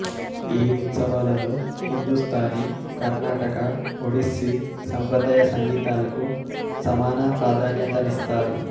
ఈ ఉత్సవాలలో హిందుస్తానీ కర్ణాటక ఒడిస్సీ సంప్రదాయ సంగీతాలకు సమాన ప్రాధాన్యతనిస్తారు